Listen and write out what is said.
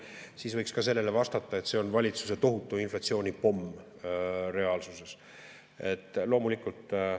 Siis võiks ka selle kohta öelda, et see on valitsuse tohutu inflatsioonipomm reaalsuses.